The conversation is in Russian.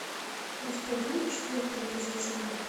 у тебя будет четвертый эпизод салем